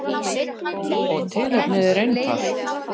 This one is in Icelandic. Og tilefnið er einfalt.